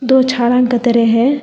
दो झाड़ा के तरह है।